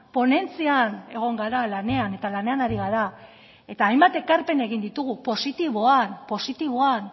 ponentzian egon gara lanean eta lanean ari gara eta hainbat ekarpen egin ditugu positiboan positiboan